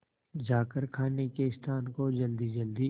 जाकर खाने के स्थान को जल्दीजल्दी